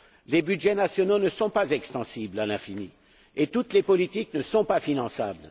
Les budgets nationaux ne sont pas extensibles à l'infini et toutes les politiques ne sont pas finançables.